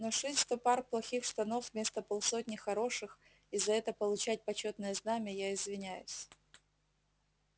но шить сто пар плохих штанов вместо полсотни хороших и за это получать почётное знамя я извиняюсь